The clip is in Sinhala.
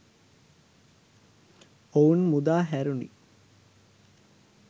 ඔවුන් මුදාහැරුණි